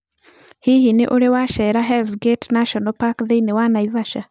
Hihi nĩ ũrĩ wacerera Hell's Gate National Park thĩinĩ wa Naivasha?